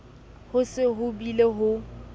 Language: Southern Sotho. ho se ho bile ho